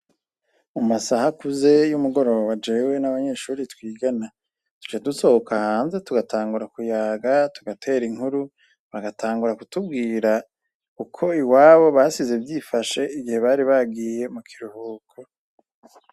Mumasah’akuze y’umugoroba jewe n’abanyeshure twigana duca dusohoka hanze tugatangura kuyaga , tugater’inkuru, bagatangura kutubwira uko iwabo basize vyifashe igihe bari bagiye mukiruhuko.